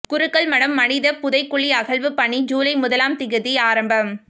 குருக்கள்மடம் மனித புதைக்குழி அகழ்வு பணி ஜுலை முதலாம் திகதி ஆரம்பம்